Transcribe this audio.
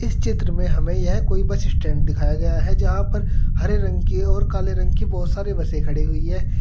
इस चित्र में हमें यह कोई बस स्टैंड दिखाया गया है जहां पर हरे रंग की और काले रंग की बहुत सारे बसें खड़ी हुई है।